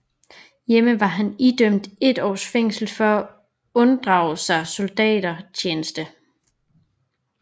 Hjemme var han idømt et års fængsel for at unddrage sig soldatertjeneste